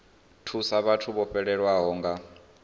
thusa vhathu vho fhelelwaho nga